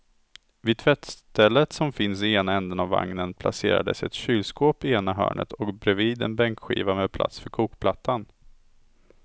Vid tvättstället som finns i ena ändan av vagnen placerades ett kylskåp i ena hörnet och bredvid en bänkskiva med plats för kokplattan.